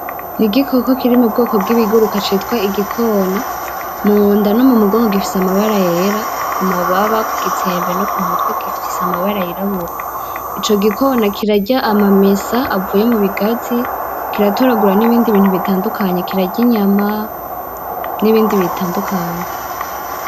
Igikoko Kiri mu bwoko bw'ibiguruka citwa igikona, munda no mu mugongo gifise amabara yera, ku mababa, ku gitsembe no ku mutwe gifise amabara yirabura. ico gikona kirarya amamesa avuye mu bigazi, kiratoragura nibindi bitandukanye, kirarya inyama n'ibindi bitandukanye.